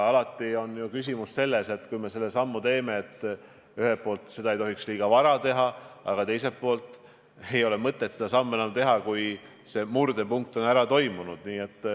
Aga küsimus on selles, et kui me selle sammu teeme, siis ühelt poolt seda ei tohiks liiga vara teha, aga teiselt poolt ei ole mõtet seda sammu enam teha, kui murdepunkt on ära olnud.